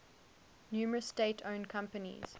numerous state owned companies